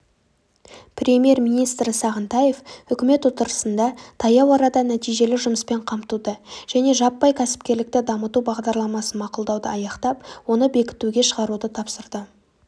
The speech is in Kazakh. премьер-министрі сағынтаев үкімет отырысында таяу арада нәтижелі жұмыспен қамтуды және жаппай кәсіпкерлікті дамыту бағдарламасын мақұлдауды аяқтап оны бекітуге шығаруды тапсырды